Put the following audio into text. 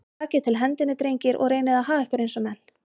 Takið til hendinni, drengir, og reynið að haga ykkur eins og menn.